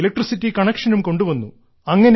electricity കണക്ഷനും കൊണ്ടുവന്നു